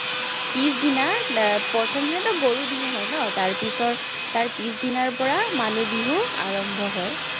পিছ দিনা এৰ প্ৰথমদিনাতো গৰু বিহু হয় ন, তাৰপিচৰ তাৰপিচ দিনাৰপৰা মানুহ বিহু আৰম্ভ হয়।